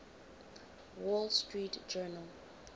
wall street journal